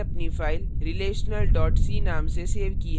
मैंने अपनी file relational c नाम से सेव की है